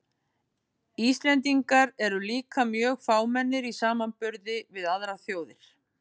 Íslendingar eru líka mjög fámennir í samanburði við aðrar þjóðir.